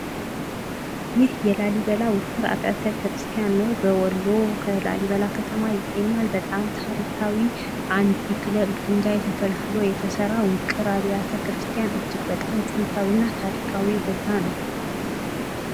ይህ የላሊበላ ውቅር አብያተ ክርስቲያን ነው። በወሎ በላሊበላ ከተማ ይገኛል። በጣም ታሪካዊ ከአንድ ድንጋይ ተፈልፍሎ የተሰራ ውቅር አብያተ ክርስቲያን እጅግ በጣም ጥንታዊና ታሪካዊ ቦታ ነው።